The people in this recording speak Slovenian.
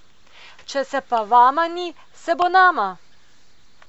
Če se pa vama ni, se bo nama!